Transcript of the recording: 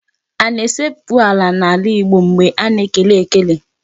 A na-esekpu ala n'ala Igbo mgbe a na-ekele ekele.